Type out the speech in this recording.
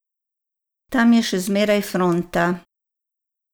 Tam je še zmeraj fronta.